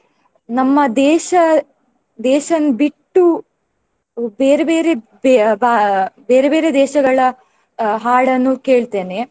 ನಮ್ಮ ದೇಶ ದೇಶನ್ ಬಿಟ್ಟು ಬೇರೆ ಬೇರೆ ಬೇ~ ಭಾ~ ಬೇರೆ ಬೇರೆ ದೇಶಗಳ ಹಾಡನ್ನು ಕೇಳ್ತೇನೆ.